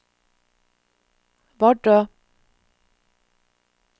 Vardø